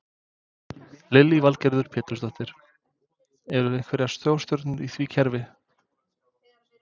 Lillý Valgerður Pétursdóttir: Eru einhverjar stórstjörnur í því verkefni?